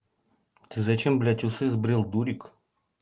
ты зачем блять усы сбрил дурик